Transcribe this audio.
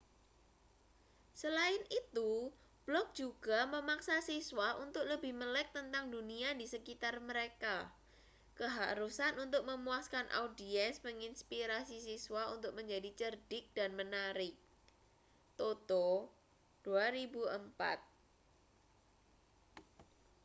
"selain itu blog juga memaksa siswa untuk lebih melek tentang dunia di sekitar mereka. keharusan untuk memuaskan audiens menginspirasi siswa untuk menjadi cerdik dan menarik toto 2004.